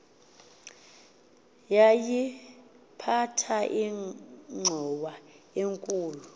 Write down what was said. yayiphatha ingxowa enkulu